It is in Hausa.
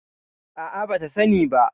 A'a, bata sani ba.